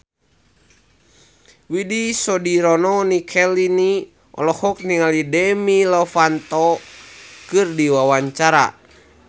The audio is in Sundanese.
Widy Soediro Nichlany olohok ningali Demi Lovato keur diwawancara